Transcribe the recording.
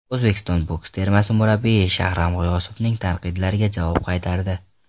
O‘zbekiston boks termasi murabbiyi Shahram G‘iyosovning tanqidlariga javob qaytardi.